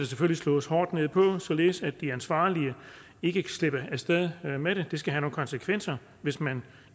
selvfølgelig slås hårdt ned på således at de ansvarlige ikke slipper af sted med det det skal have nogle konsekvenser hvis man